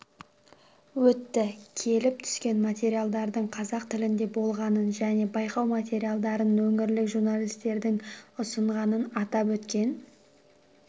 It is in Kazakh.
өтті келіп түскен материалдардың қазақ тілінде болғанын және байқау материалдарын өңірлік журналистердің ұсынғанын атап өткен